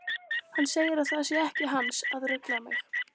Hann segir að það sé ekki hans að rugla mig.